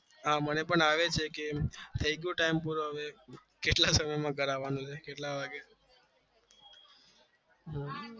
હા મને પણ અવે છે કેટલા સમય માં ઘરે આવે છે